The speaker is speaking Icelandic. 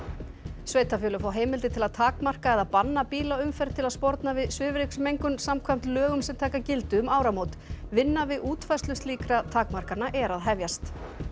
sveitarfélög fá heimildir til að takmarka eða banna bílaumferð til að sporna við svifryksmengun samkvæmt lögum sem taka gildi um áramót vinna við útfærslu slíkra takmarkana er að hefjast